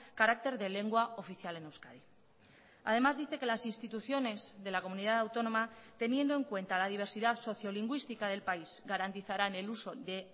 carácter de lengua oficial en euskadi además dice que las instituciones de la comunidad autónoma teniendo en cuenta la diversidad sociolingüística del país garantizaran el uso de